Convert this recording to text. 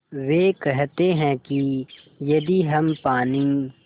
वे कहते हैं कि यदि हम पानी